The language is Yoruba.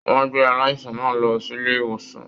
Wọn gbé aláìsàn náà lọ sílé ìwòsàn.